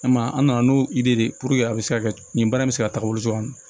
An m'a ye an nana n'o dere de ye puruke a be se ka kɛ nin baara in be se ka taga wolo cogo min na